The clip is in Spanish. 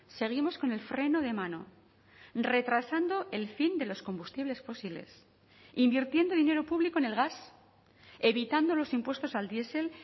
seguimos con el freno de mano retrasando el fin de los combustibles fósiles invirtiendo dinero público en el gas evitando los impuestos al diesel